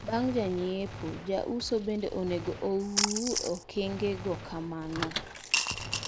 Bang' janyiepo, jauso bende onego ouu okengego kamano.